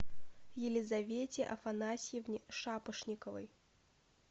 елизавете афанасьевне шапошниковой